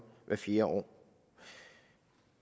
fjerde år